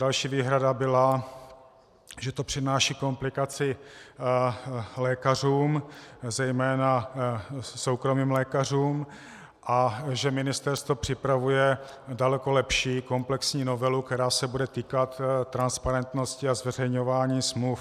Další výhrada byla, že to přináší komplikaci lékařům, zejména soukromým lékařům, a že ministerstvo připravuje daleko lepší, komplexní novelu, která se bude týkat transparentnosti a zveřejňování smluv.